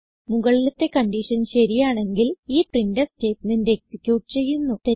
മുകളിലത്തെ കൺഡിഷൻ ശരിയാണെങ്കിൽ ഈ പ്രിന്റ്ഫ് സ്റ്റേറ്റ്മെന്റ് എക്സിക്യൂട്ട് ചെയ്യുന്നു